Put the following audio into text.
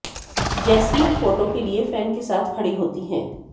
jasmine photo के लिए fan के साथ खड़ी होती हैं